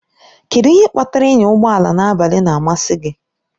Kedụ ihe kpatara ịnya ụgbọ ala n'abalị na-amasị gị?